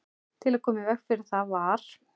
Til að koma í veg fyrir það var